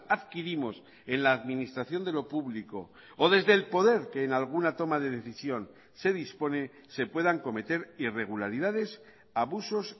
adquirimos en la administración de lo público o desde el poder que en alguna toma de decisión se dispone se puedan cometer irregularidades abusos